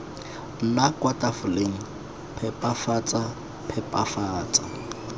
nna kwa tafoleng phepafatsa phepafatsa